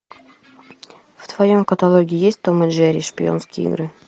в твоем каталоге есть том и джерри шпионские игры